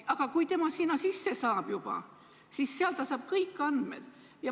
Aga kui ta sinna süsteemi juba sisse saab, siis sealt saab ta kätte kõik muud andmed.